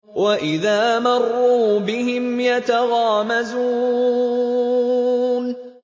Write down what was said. وَإِذَا مَرُّوا بِهِمْ يَتَغَامَزُونَ